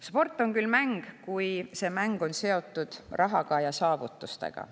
Sport on küll mäng, kuid see mäng on seotud raha ja saavutustega.